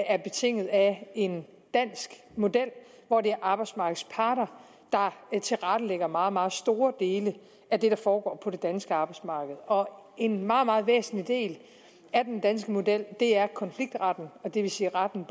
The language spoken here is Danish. er betinget af en dansk model hvor det er arbejdsmarkedets parter der tilrettelægger meget meget store dele af det der foregår på det danske arbejdsmarked og en meget meget væsentlig del af den danske model er konfliktretten det vil sige retten